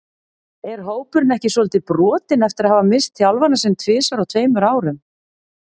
Er hópurinn ekki svolítið brotinn eftir að hafa misst þjálfarann sinn tvisvar á tveimur árum?